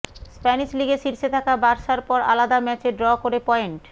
Spanish লিগে শীর্ষে থাকা বার্সার পর আলাদা ম্যাচে ড্র করে পয়েন্ট